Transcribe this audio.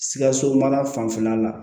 Sikaso mara fanfɛla la